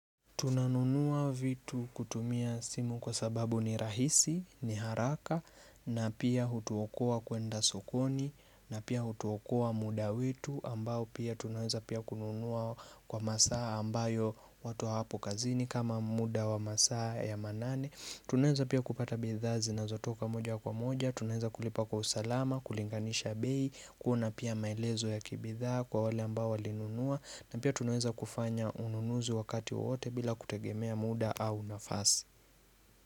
Tunanunua vitu kutumia simu kwa sababu ni rahisi, ni haraka na pia hutuokua kuenda sokoni na pia hutuokoa muda wetu ambao pia tunaweza pia kununua kwa masaa ambayo watu hawapo kazini kama muda wa masaa ya manane Tunaweza pia kupata bidhaa zinazotoka moja kwa moja, tunaweza kulipa kwa usalama, kulinganisha bei, kuona pia maelezo ya kibidhaa kwa wale ambao walinunua, na pia tunaweza kufanya ununuzi wakati wowote bila kutegemea muda au nafasi.